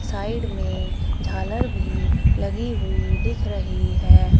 Side में झालर भी लगी हुई दिख रही है।